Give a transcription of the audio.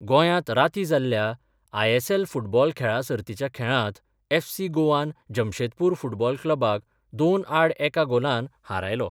गोंयांत रातीं जाल्ल्या आयएसएल फुटबॉल खेळा सर्तीच्या खेळांत एफसी गोवान जमशेदपूर फुटबॉल क्लबाक दोन आड एका गोलान हारयलो.